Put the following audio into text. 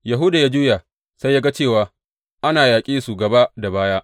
Yahuda ya juya sai ya ga cewa ana yaƙe su gaba da baya.